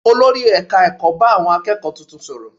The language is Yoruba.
Olórí ẹ̀ka ẹ̀kọ́ bá àwọn akẹ́kọ̀ọ́ tuntun sọ̀rọ̀